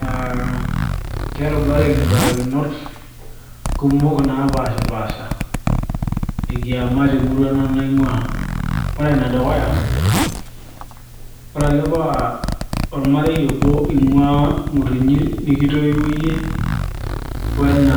aa kerubareki imbarakinot kumok naapashipasha ekiama temurua nanu naing'ua ore enedukuya ore ake paa ormarei obo ing'ua ng'utunyi nikitoiwuo yie wena